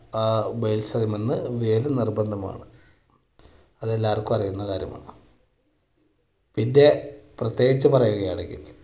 ആ basement ന്റിൽ നിന്ന് ജോലി നിർബന്ധമാണ്. അത് എല്ലാവർക്കും അറിയാവുന്ന കാര്യമാണ് പിന്നെ പ്രത്യേകിച്ച് പറയുകയാണെങ്കിൽ